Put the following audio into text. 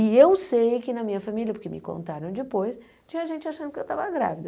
E eu sei que na minha família, porque me contaram depois, tinha gente achando que eu estava grávida.